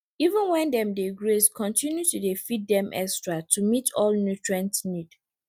even when dem dey graze continue to dey feed dem extra to meet all nutrient need